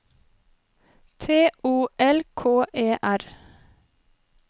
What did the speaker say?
T O L K E R